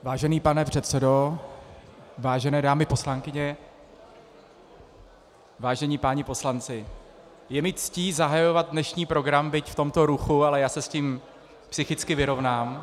Vážený pane předsedo, vážené dámy poslankyně, vážení páni poslanci, je mi ctí zahajovat dnešní program, byť v tomto ruchu, ale já se s tím psychicky vyrovnám.